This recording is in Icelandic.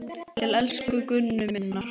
Til elsku Gunnu minnar.